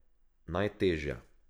Najtežja.